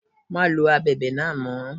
Má lo Abẹ̀bẹ̀ náà mọ́.